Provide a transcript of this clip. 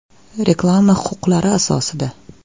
Reklama huquqlari asosida.